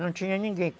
Não tinha ninguém.